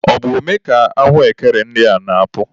Ọ bụ ome ka ahụekere ndị a na-epu?